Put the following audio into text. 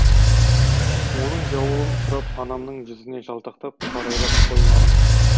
оның жауабын сұрап анамның жүзіне жалтақтап қарайлап қоймадым